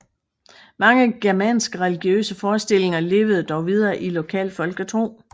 Mange germanske religiøse forestillinger levede dog videre i lokal folketro